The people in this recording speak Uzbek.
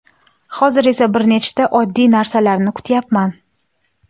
Hozir esa bir nechta oddiy narsalarni kutyapman.